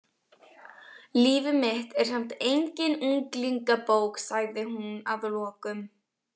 Líf mitt er samt engin unglingabók, sagði hún að lokum.